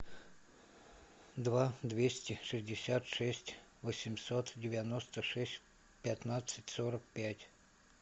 два двести шестьдесят шесть восемьсот девяносто шесть пятнадцать сорок пять